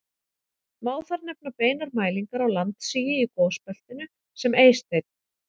Má þar nefna beinar mælingar á landsigi í gosbeltinu sem Eysteinn